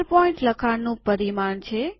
૧૨pt લખાણનું પરિમાણ છે